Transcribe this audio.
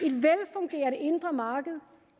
et velfungerende indre marked